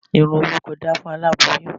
Ìrìn òru kò da fún aláboyun.